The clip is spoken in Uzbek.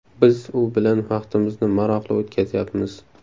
Biz u bilan vaqtimizni maroqli o‘tkazyapmiz.